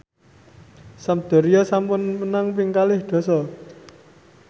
Sampdoria sampun menang ping kalih dasa